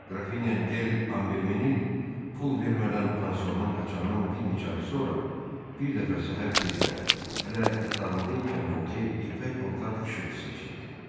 Qrafinya Del Ambermenil pul vermədən pansiondan qaçandan bir neçə ay sonra, bir dəfə səhər tezdən, hələ yatağında ikən Voke ipək paltar xışıltısı eşitdi.